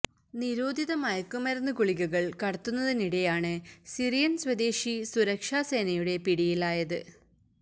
നിരോധിത മയക്ക് മരുന്ന് ഗുളികകള് കടത്തുന്നതിനിടെയാണ് സിറിയന് സ്വദേശി സുരക്ഷാ സേനയുടെ പിടിയിലായത്